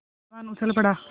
पहलवान उछल पड़ा